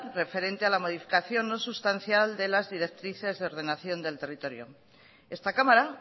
referente a la modificación no sustancial de las directrices de ordenación del territorio esta cámara